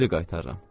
Geri qaytarıram.